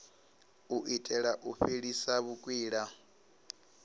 u itela u fhelisa vhukwila